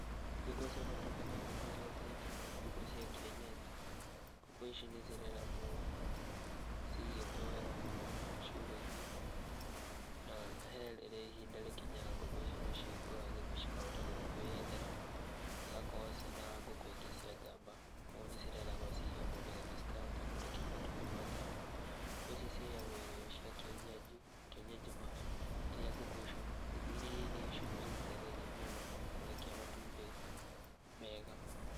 Ngũkũ cia matumbĩ nĩ ngũkũ irĩa ciĩtagwo ngũkũ cia kienyenji, ngũkũ ici nĩcireragwo cigĩtwo wega mũno ciugũ-inĩ, na he rĩrĩa ihinda rĩkinyaga ngũkũ icio nĩcihingũragĩrwo cikahota gũthiĩ kwĩyethera, cigakorwo ciĩna ngũkũ ingĩ cia njamba, koguo nĩcireragwo ciĩhamwe nĩgetha cikahota kũrekia matumbĩ ma njamba. Ngũkũ icio ciheagwo irio cia kienyenji, kienyeji mash, irĩa ngũkũ icio, irĩa irio icio nĩcio citaithagia mũno kũrekia matumbĩ mega.